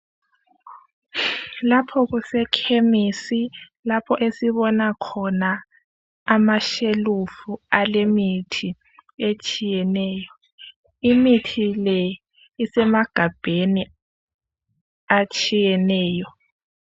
Lapho kusekhemisi lapho esibona khona amashelufu alemithi etshiyeneyo, imithi le isemagabheni atshiyeneyo.